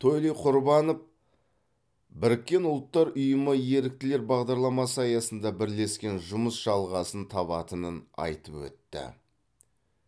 тойли құрбанов біріккен ұлттар ұйымы еріктілер бағдарламасы аясында бірлескен жұмыс жалғасын табатынын айтып өтті